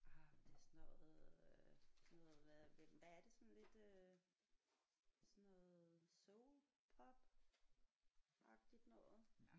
Ah det er sådan noget øh sådan noget hvad hvad er det sådan lidt øh sådan noget soul pop agtigt noget